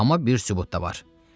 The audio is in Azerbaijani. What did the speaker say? Amma bir sübut da var.